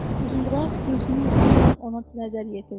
Uzundraz gözünün ucu ilə ona nəzər yetirdi.